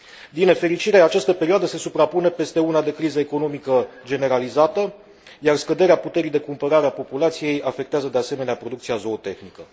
Din nefericire, această perioadă se suprapune peste una de criză economică generalizată, iar scăderea puterii de cumpărare a populației afectează de asemenea producția zootehnică.